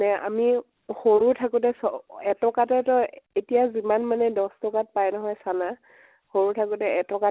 নে আমিও সৰু থাকোতে চ এটকাতে তই, এতিয়া যিমান মানে দশ টকা ত পাই নহয় চানা, সৰু থাকোতে এটকা